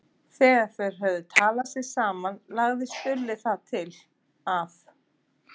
Þegar þeir höfðu talað sig saman lagði Stulli það til að